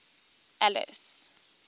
alice